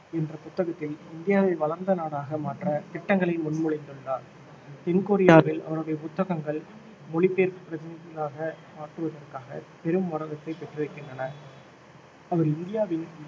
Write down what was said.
என்ற புத்தகத்தில் இந்தியாவை வளர்ந்த நாடாக மாற்ற திட்டங்களை முன்மொழிந்துள்ளார் தென் கொரியாவில் அவருடைய புத்தகங்கள் மொழிபெயர்ப்பு பிரதிகளாக மாற்றுவதற்காக பெரும் வரவேற்பை பெற்றிருக்கின்றன அவர் இந்தியாவின்